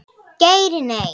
Geir Nei.